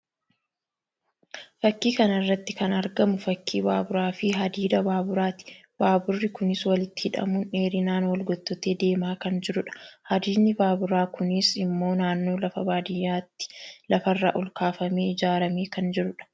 Fakii kana irratti kan argamu fakii baaburaa fi hadiida baaburaati. baaburri kunis walitti hidhamuun dheerinaan wal gottotee deemaa kan jirudha. Hadiidni baaburaa dkunis immoo naannoo lafa baadiyyaatti lafarraa ol kaafamee ijaarramee kan jirudha.